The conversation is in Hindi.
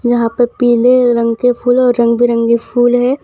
यहां पे पीले रंग के फूल और रंग बिरंगे फूल हैं।